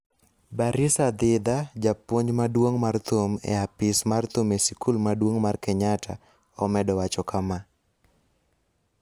Barissa Dhidha, japuonj maduong' mar thum e apis mar thum e sikul maduong' mar Kenyatta omedo wacho kama: